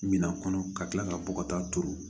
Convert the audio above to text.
Minan kɔnɔ ka kila ka bɔ ka taa turu